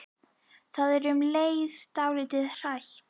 Það er um leið dálítið hrætt.